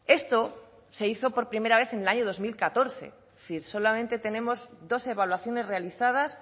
esto se hizo por primera vez en el año dos mil catorce si solamente tenemos dos evaluaciones realizadas